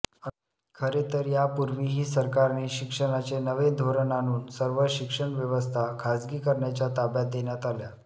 खरेतर यापूर्वीही सरकारने शिक्षणाचे नवे धोरण आणून सर्व शिक्षण व्यवस्था खासगीकरणाच्या ताब्यात देण्यात आल्या